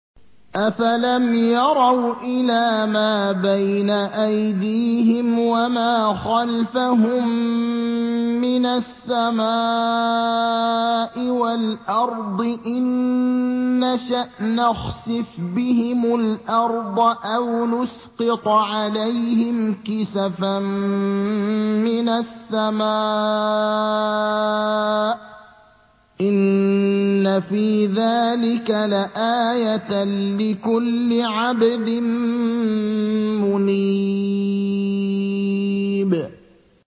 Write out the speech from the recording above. أَفَلَمْ يَرَوْا إِلَىٰ مَا بَيْنَ أَيْدِيهِمْ وَمَا خَلْفَهُم مِّنَ السَّمَاءِ وَالْأَرْضِ ۚ إِن نَّشَأْ نَخْسِفْ بِهِمُ الْأَرْضَ أَوْ نُسْقِطْ عَلَيْهِمْ كِسَفًا مِّنَ السَّمَاءِ ۚ إِنَّ فِي ذَٰلِكَ لَآيَةً لِّكُلِّ عَبْدٍ مُّنِيبٍ